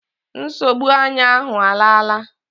Nsogbu anya ahụ alaala